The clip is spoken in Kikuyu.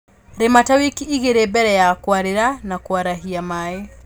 Rĩma ta wiki igĩli mbele ya kũarĩla na kũarahia maĩĩ